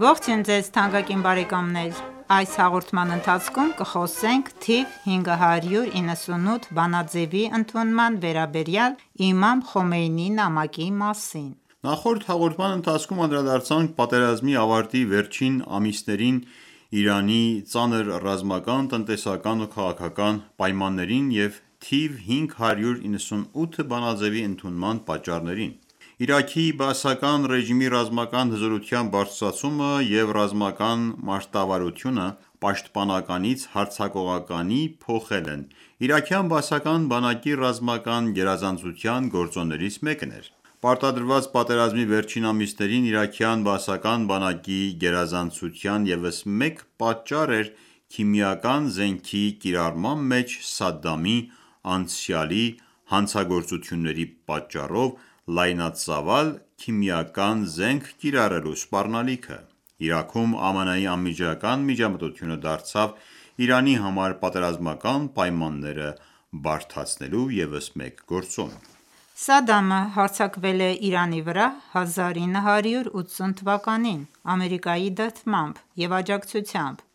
Ողջույն ձեզ թանկագին բարեկամներ: Այս հաղորդման ընթացքում կխոսենք թիվ 598 բանաձեւի ընդունման վերաբերյալ Իմամ Խոմեյնիի նամակի մասին։ Նախորդ հաղորդման ընթացքում անդրադարձանք պատերազմի ավարտի վերջին ամիսներին Իրանի ծանր ռազմական, տնտեսական ու քաղաքական պայմաններին և թիվ 598 բանաձեւի ընդունման պատճառներին։ Իրաքի բաասական ռեժիմի ռազմական հզորության բարձրացումը և ռազմական մարտավարությունը պաշտպանականից հարձակողականի փոխելն իրաքյան բաասական բանակի ռազմական գերազանցության գործոններից մեկն էր։ Պարտադրված պատերազմի վերջին ամիսներին իրաքյան բաասական բանակի գերազանցության ևս մեկ պատճառ էր քիմիական զենքի կիրառման մեջ Սադամի անցյալի հանցագործությունների պատճառով լայնածավալ քիմիական զենք կիրառելու սպառնալիքը։ Իրաքում ԱՄՆ-ի անմիջական միջամտությունը դարձավ Իրանի համար պատերազմական պայմանները բարդացնելու ևս մեկ գործոն։ Սադամը հարձակվել է Իրանի վրա 1980 թվականին Ամերիկայի դրդմամբ և աջակցությամբ։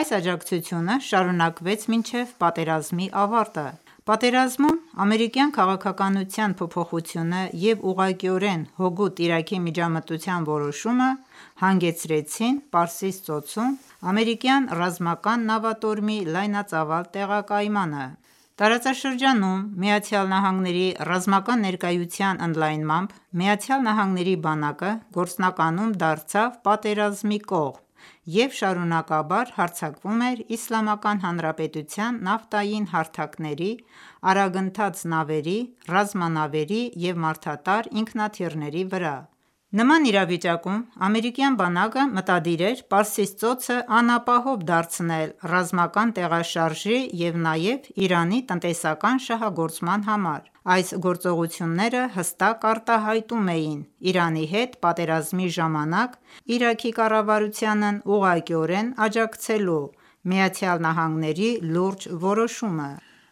Այս աջակցությունը շարունակվեց մինչև պատերազմի ավարտը։ Պատերազմում ամերիկյան քաղաքականության փոփոխությունը և ուղղակիորեն հօգուտ Իրաքի միջամտության որոշումը հանգեցրին Պարսից ծոցում ամերիկյան ռազմական նավատորմի լայնածավալ տեղակայմանը: Տարածաշրջանում ԱՄՆ-ի ռազմական ներկայության ընդլայնմամբ Միացյալ Նահանգների բանակը գործնականում դարձավ պատերազմի կողմ և շարունակաբար հարձակվում էր Իսլամական Հանրապետության նավթային հարթակների, արագընթաց նավերի, ռազմանավերի և մարդատար ինքնաթիռների վրա: Նման իրավիճակում ամերիկյան բանակը մտադիր էր Պարսից ծոցն անապահով դարձնել ռազմական տեղաշարժի և նաև Իրանի տնտեսական շահագործման համար։ Այս գործողությունները հստակ արտահայտում էին Իրանի հետ պատերազմի ժամանակ Իրաքի կառավարությանն ուղղակիորեն աջակցելու ԱՄՆ-ի լուրջ որոշումը։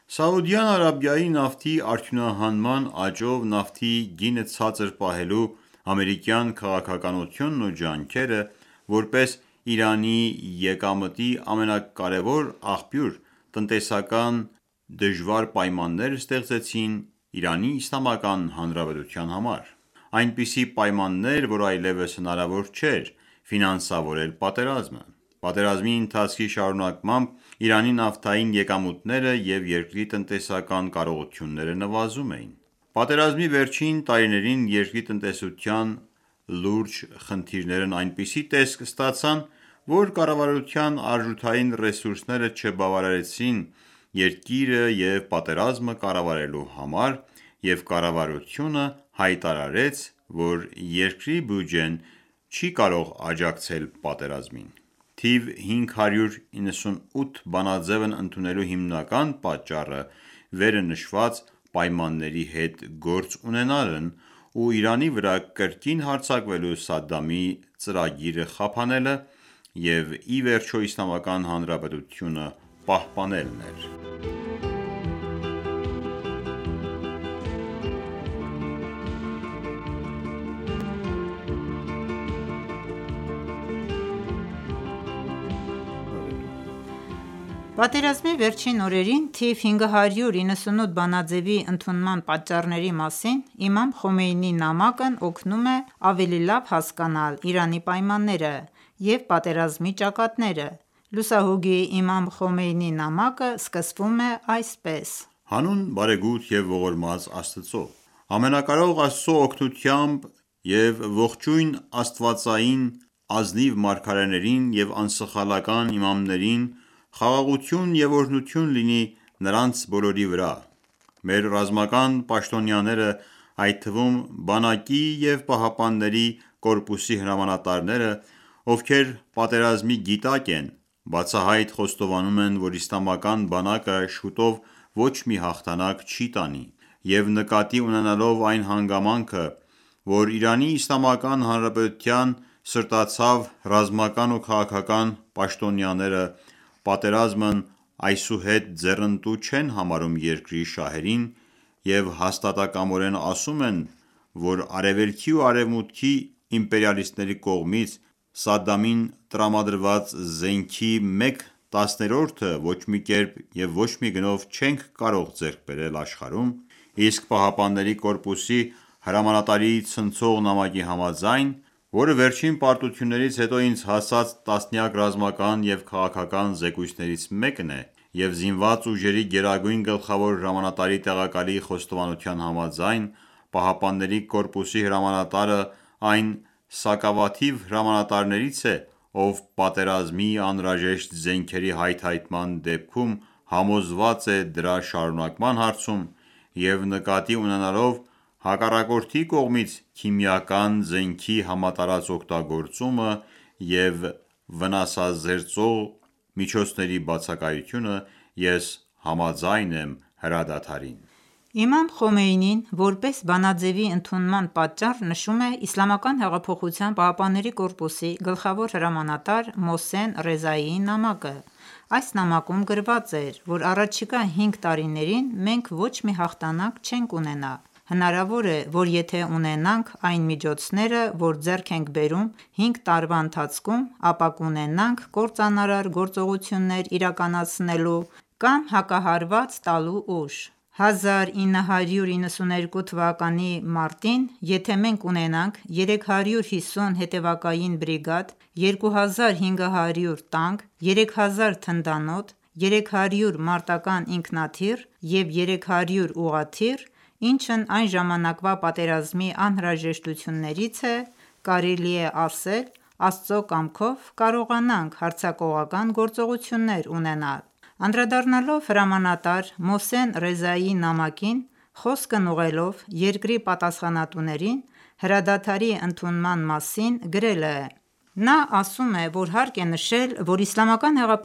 Սաուդյան Արաբիայի նավթի արդյունահանման աճով նավթի գինը ցածր պահելու ամերիկյան քաղաքականությունն ու ջանքերը՝ որպես Իրանի եկամտի ամենակարևոր աղբյուր, տնտեսական դժվար պայմաններ ստեղծեցին ԻԻՀ-ի համար։ Այնպիսի պայմաններ, որ այլեւս հնարավոր չէր ֆինանսավորել պատերազմը։ Պատերազմի ընթացքի շարունակմամբ Իրանի նավթային եկամուտները և երկրի տնտեսական կարողությունները նվազում էին: Պատերազմի վերջին տարիներին երկրի տնտեսության լուրջ խնդիրներն այնպիսի տեսք ստացան, որ կառավարության արժութային ռեսուրսները չբավականացրին երկիրը և պատերազմը կառավարելու համար, և կառավարությունը հայտարարեց, որ երկրի բյուջեն չի կարող աջակցել պատերազմին։ Թիվ 598 բանաձեւն ընդունելու հիմնական պատճառը վերը նշված պայմանների հետ գործ ունենալն ու Իրանի վրա կրկին հարձակվելու Սադամի ծրագիրը խափանելը և ի վերջո Իսլամական Հանրապետությունը պահպանելն էր: Պատերազմի վերջին օրերին թիվ 598 բանաձեւի ընդունման պատճառների մասին Իմամ Խոմեյնիի նամակն օգնում է ավելի լավ հասկանալ Իրանի պայմանները և պատերազմի ճակատները։ Լուսահոգի Իմամ Խոմեյնիի նամակը սկսվում է այսպես. Հանուն Բարեգութ և ողորմած Աստծո «Ամենակարող Աստծո օգնությամբ և ողջույն աստվածային ազնիվ մարգարեներին և անսխալական իմամներին, խաղաղություն և օրհնություն լինի նրանց բոլորի վրա: Մեր ռազմական պաշտոնյաները, այդ թվում՝ բանակի և ԻՀՊԿ-ի հրամանտարները, ովքեր պատերազմի գիտակ են, բացահայտ խոստովանում են, որ իսլամական բանակը շուտով ոչ մի հաղթանակ չի տանի, և նկատի ունենալով այն հանգամանքը, որ Իրանի Իսլամական Հանրապետության սրտացավ ռազմական և քաղաքական պաշտոնյաները պատերազմն այսուհետ ձեռնտու չեն համարում երկրի շահերին և հաստատակամորեն ասում են, որ Արևելքի ու Արեւմուտքի իմպերիալիստների կողմից Սադամին տրամադրված զենքի մեկ տասներորդը ոչ մի կերպ եւ ոչ մի գնով չենք կարող ձեռք բերել աշխարհում, իսկ ԻՀՊԿ-ի հրամանատարի ցնցող նամակի համաձայն, որը վերջին պարտություններից հետո ինձ հասած տասնյակ ռազմական և քաղաքական զեկույցներից մեկն է, և Զինված ուժերի գերագույն գլխավոր հրամանատարի տեղակալի խոստովանության համաձայն, ԻՀՊԿ-ի հրամանատարը այն սակավաթիվ հրամանատարներից է, ով պատերազմի անհրաժեշտ զենքերի հայթայթման դեպքում համոզված է դրա շարունակման հարցում և նկատի ունենալով հակառակորդի կողմից քիմիական զենքի համատարած օգտագործումը և վնասազերծող միջոցների բացակայությունը՝ ես համաձայն եմ հրադադարին»։ Իմամ Խոմեյնին որպես բանաձևի ընդունման պատճառ նշում է ԻՀՊԿ-ի գլխավոր հրամանատար Մոհսեն Ռեզայիի նամակը։ Այս նամակում գրված էր, որ առաջիկա հինգ տարիներին մենք ոչ մի հաղթանակ չենք ունենա, հնարավոր է, որ եթե ունենանք այն միջոցները, որ ձեռք ենք բերում 5 տարվա ընթացքում, ապա կունենանք կործանարար գործողություններ իրականացնելու կամ հակահարված տալու ուժ: 1371թ. տարեվերջից հետո (1992 թ. մարտ) եթե մենք ունենանք 350 հետևակային բրիգադ, 2500 տանկ, 3000 թնդանոթ, 300 մարտական ինքնաթիռ և 300 ուղղաթիռ... ինչն այն ժամանակվա պատերազմի անհրաժեշտություններից է, կարելի է ասել, Աստծո կամքով կարողանանք հարձակողական գործողություններ ունենալ։ Անդրադառնալով հրամանատար Մոհսեն Ռեզայիի նամակին, խոսքն ուղղելով երկրի պատասխանատուներին հրադադարի ընդունման մասին գրել է.«Նա ասում է, որ հարկ է նշել, որ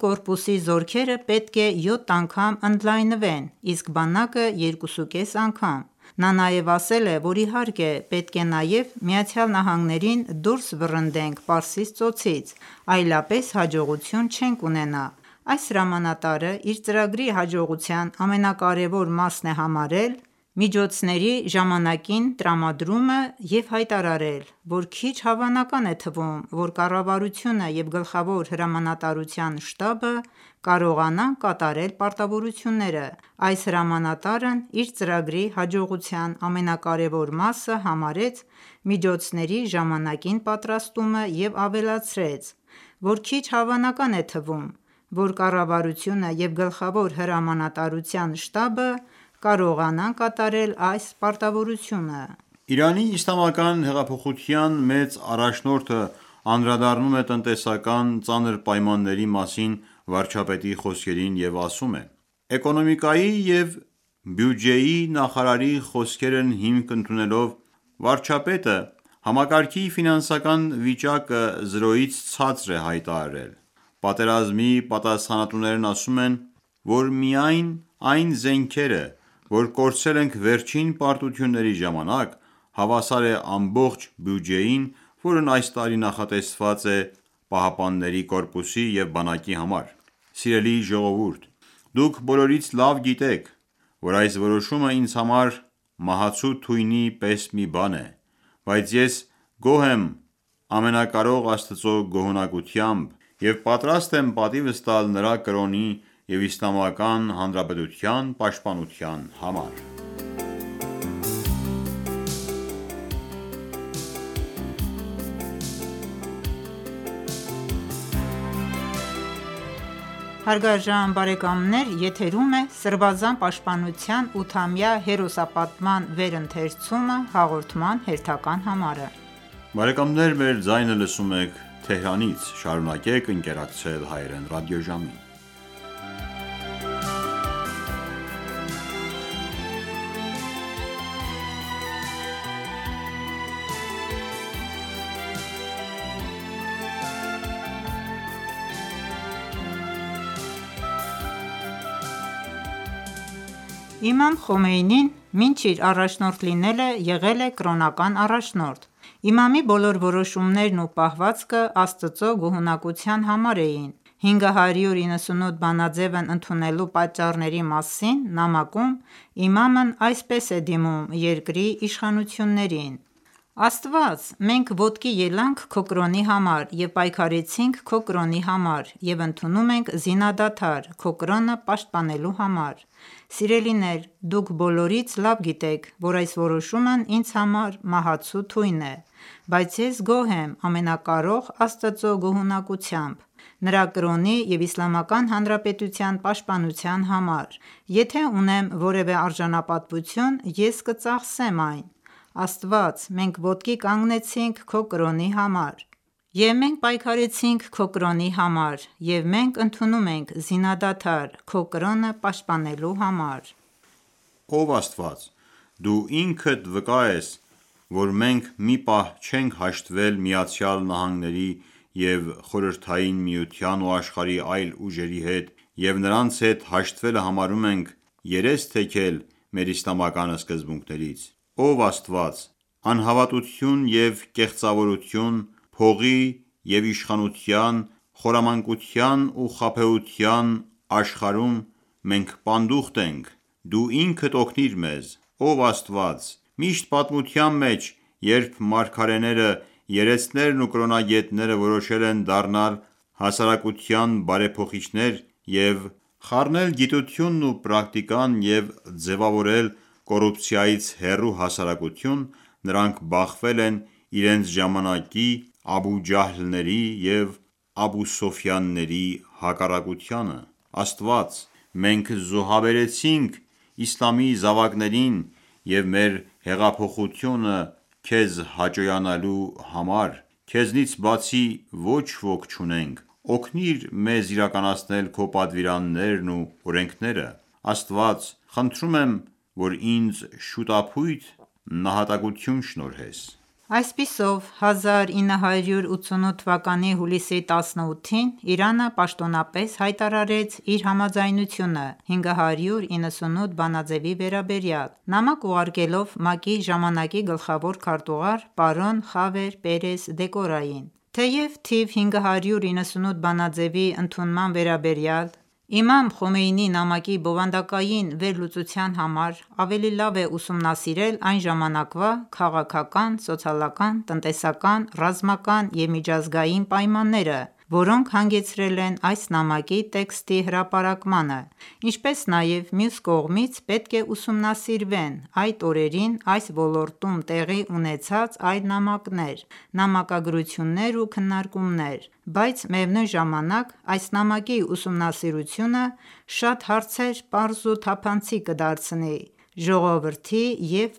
ԻՀՊԿ-ի զորքերը պետք է յոթ անգամ ընդլայնվեն, իսկ բանակը՝ երկուսուկես անգամ: Նա նաև ասել է, որ իհարկե, պետք է նաև ԱՄՆ-ին ​​դուրս վռնդենք Պարսից ծոցից, այլապես հաջողություն չենք ունենա: Այս հրամանատարը իր ծրագրի հաջողության ամենակարևոր մասն է համարել միջոցների ժամանակին տրամադրումը և հայտարարել, որ քիչ հավանական է թվում, որ կառավարությունը և Գլխավոր հրամանատարության շտաբը կարողանան կատարել պարտավորությունը: Այս հրամանատարն իր ծրագրի հաջողության ամենակարևոր մասը համարեց միջոցների ժամանակին պատրաստումը և ավելացրեց, որ քիչ հավանական է թվում, որ կառավարությունը և գլխավոր հրամանատարության շտաբը կարողանան կատարել այս պարտավորությունը...» Իրանի իսլամական հեղափոխության մեծ առաջնորդն անդրադառնում է տնտեսական ծանր պայմանների մասին վարչապետի խոսքերին և ասում է.«Էկոնոմիկայի և բյուջեի նախարարի խոսքերն հիմք ընդունելով, վարչապետը համակարգի ֆինանսական վիճակը զրոյից ցածր է հայտարարել, պատերազմի պատասխանատուներն ասում են, որ միայն այն զենքերը, որ կորցրել ենք վերջին պարտությունների ժամանակ, հավասար է ամբողջ բյուջեին, որն այս տարի նախատեսված էր ԻՀՊԿ-ի և բանակի համար: Սիրելի ժողովուրդ, դուք բոլորից լավ գիտեք, որ այս որոշումը ինձ համար մահացու թույնի պես մի բան է, բայց ես գոհ եմ Ամենակարող Աստծո գոհունակությամբ և եթե պատրաստ եմ պատիվս տալ Նրա կրոնի և Իսլամական Հանրապետության պաշտպանության համար»: Իմամ Խոմեյնին մինչ իր առաջնորդ լինելը եղել է կրոնական առաջնորդ: Իմամի բոլոր որոշումներն ու պահվածքը Աստծո գոհունակության համար էին։ 598 բանաձեւն ընդունելու պատճառների մասին նամակում Իմամն այսպես է դիմում երկրի իշխանություններին.«Աստված, մենք ոտքի ելանք քո կրոնի համար և պայքարեցինք քո կրոնի համար և ընդունում ենք զինադադար՝ քո կրոնը պաշտպանելու համար: Սիրելիներ դուք բոլորից լավ գիտեք, որ այս որոշումն ինձ համար մահացու թույն է, բայց ես գոհ եմ Ամենակարող Աստծո գոհունակությամբ, Նրա կրոնի և Իսլամական Հանրապետության պաշտպանության համար, եթե ունեմ որևէ արժանապատվություն, Ես կծախսեմ այն, Աստված, մենք ոտքի կանգնեցինք Քո կրոնի համար, և մենք պայքարեցինք քո կրոնի համար և մենք ընդունում ենք զինադադար՝ Քո կրոնը պաշտպանելու համար: Ով Աստված Դու ինքդ վկա ես, որ մենք մի պահ չենք հաշտվել ԱՄՆ-ի, ԽՍՀՄ-ի ու աշխարհի այլ ուժերի հետ և նրանց հետ հաշտվելը համարում ենք երես թեքել մեր իսլամական սկզբունքներից: Ով Աստված անհավատություն և կեղծավորություն, փողի և իշխանության, խորամանկության ու խաբեության աշխարհում մենք պանդուխտ ենք Դու ինքդ օգնիր մեզ: Ով Աստված, միշտ պատմության մեջ, երբ մարգարեները, երեցներն ու կրոնագետները որոշել են դառնալ հասարակության բարեփոխիչներ և խառնել գիտությունն ու պրակտիկան և ձևավորել կոռուպցիայից ու կոռուպցիայից հեռու հասարակություն, նրանք բախվել են իրենց ժամանակի Աբու Ջահլների և Աբու Սուֆիանների հակառակությանը: Աստվա՛ծ, մենք զոհաբերեցինք իսլամի զավակներին և մեր հեղափոխությունը քեզ հաճոյանալու համար, քեզնից բացի ոչ ոք չունենք, օգնիր մեզ իրականացնել քո պատվիրաններն ու օրենքները, Աստված, խնդրում եմ, որ ինձ շուտափույթ նահատակություն շնորհես»։ Այսպիսով, 1988 թվականի հուլիսի 18-ին, Իրանը պաշտոնապես հայտարարեց իր համաձայնությունը 598 բանաձեւի վերաբերյալ՝ նամակ ուղարկելով ՄԱԿ-ի ժամանակի գլխավոր քարտուզար՝ պարոն Խավիեր Պերես Դեկոյարին: Թեև թիվ 598 բանաձևի ընդունման վերաբերյալ Իմամ Խոմեյնիի նամակի բովանդակային վերլուծության համար ավելի լավ է ուսումնասիրել այն ժամանակվա քաղաքական, սոցիալական, տնտեսական, ռազմական և միջազգային պայմանները, որոնք հանգեցրել են այս նամակի տեքստի հրապարակմանը, ինչպես նաև մյուս կողմից, պետք է ուսումնասիրվեն այդ օրերին այս ոլորտում տեղի ունեցած այլ նամակներ, նամակագրություններ ու քննարկումներ, բայց միևնույն ժամանակ այս նամակի ուսումնասիրությունը շատ հարցեր պարզ ու թափանցիկ կդարձնի ժողովրդի և